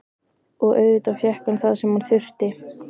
Og auðvitað fékk hann það sem hann þurfti.